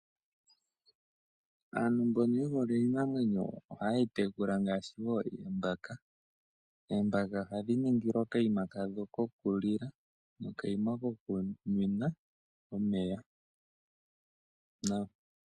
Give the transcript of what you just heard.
Aantu mbono yehole iinamwenyo ohayeyi tekula ngaashi wo oombaka . Oombaka ohadhi ningilwa okaima kadho okukulila nokaima kokuninwa omeya .